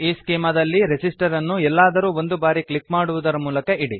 ಈಸ್ಚೆಮಾ ದಲ್ಲಿ ರೆಸಿಸ್ಟರ್ ಅನ್ನು ಎಲ್ಲಾದರೂ ಒಂದು ಬಾರಿ ಕ್ಲಿಕ್ ಮಾಡುವುದರ ಮೂಲಕ ಇಡಿ